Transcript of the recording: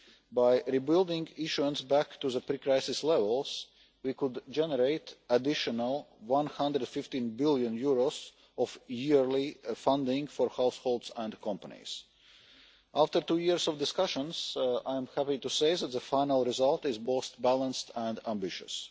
By rebuilding issuance back to the pre crisis levels, we could generate an additional EUR 115 billion of yearly funding for households and companies. After two years of discussions, I am happy to say that the final result is both balanced and ambitious.